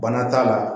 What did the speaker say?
Bana t'a la